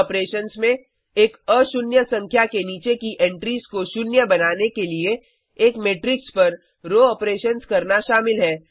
इन operations में एक अशून्य संख्या के नीचे की एंट्रीज़ को शून्य बनाने के लिए एक मेट्रिक्स पर रो ऑपरेशन्स करना शामिल है